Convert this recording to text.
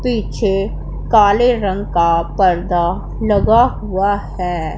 पीछे काले रंग का पर्दा लगा हुआ है।